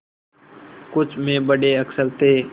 कुछ में बड़े अक्षर थे